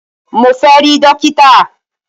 Mo fẹ́ rí dókítà!